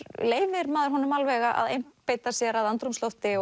leyfir maður honum alveg að einbeita sér að andrúmslofti